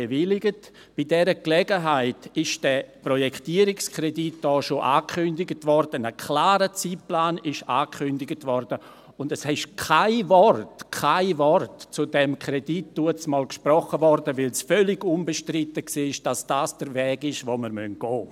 Bei dieser Gelegenheit wurde dieser Projektierungskredit schon angekündigt, ein klarer Zeitplan wurde angekündigt, und es wurde damals kein Wort, kein Wort zu diesem Kredit gesprochen, da es völlig unbestritten war, dass dies der Weg ist, den wir gehen müssen.